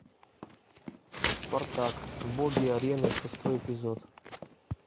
спартак боги арены шестой эпизод